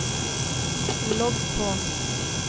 logg på